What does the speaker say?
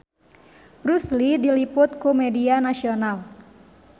Bruce Lee diliput ku media nasional